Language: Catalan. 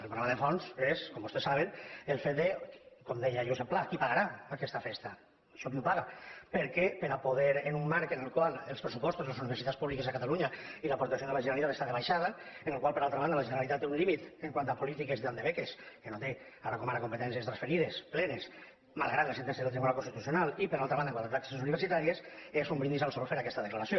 el problema de fons és com vostès saben el fet de com deia josep pla qui pagarà aquesta festa això qui ho paga perquè per poder en un marc en el qual els pressupostos de les universitats públiques de cata·lunya i l’aportació de la generalitat estan de baixada amb la qual cosa per altra banda la generalitat té un límit pel que fa a polítiques de beques que no té ara com ara competències transferides plenes malgrat la sentència del tribunal constitucional i per altra ban·da quant a taxes universitàries és un brindis al sol fer aquesta declaració